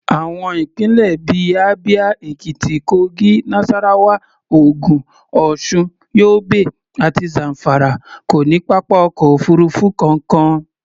Àwọn ìpínlẹ̀ bí i Abia, Ekiti, Kogi, Nasarawa, Ogun, Osun, Yobe àti Zamfara kò ní pápá ọkọ̀ òfuurufú kankan.